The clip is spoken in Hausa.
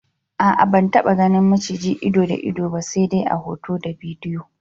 A'a ban taba ganin maciji ido da ido ba se de a hoto da bidiyo.